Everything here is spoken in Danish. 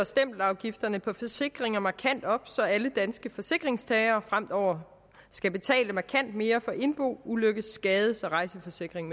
stempelafgifterne på forsikringer markant op så alle danske forsikringstagere fremover skal betale markant mere for en indbo ulykkes skades og rejseforsikring